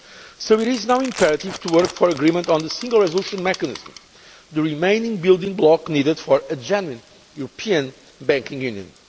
So it is now imperative to work for agreement on the Single Resolution Mechanism, which is the last building block needed for a genuine European Banking Union.